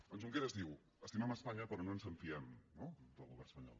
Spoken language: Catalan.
en junqueras diu estimem espanya però no ens en fiem no del govern espanyol